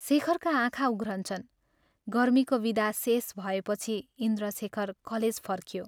शेखरका आँखा उघ्रन्छन्। गर्मीको विदा शेष भएपछि इन्द्रशेखर कलेज फर्क्यों।